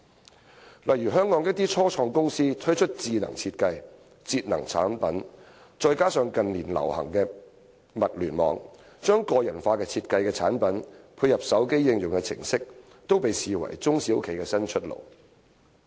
舉例說，香港一些初創公司推出智能設計、節能產品，再加上近年流行的"物聯網"，將個人化設計的產品配合手機應用程式，都被視為中小企的新出路。